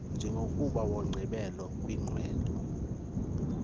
njengomba wokugqibela kwiqwewe